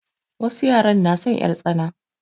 Wasu yaran na son 'yartsana.